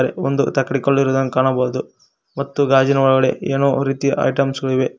ಮತ್ತು ಒಂದು ತಕ್ಕಡಿ ಕಲ್ಲು ಇರುವುದನ್ನು ಕಾಣಬಹುದು ಮತ್ತು ಗಾಜಿನ ಒಳಗಡೆ ಏನೋ ರೀತಿಯ ಐಟಮ್ಸ್ ಗಳು ಇವೆ.